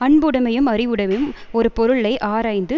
அன்புடைமையும் அறிவுடைமையும் ஒருபொருளை ஆராய்ந்து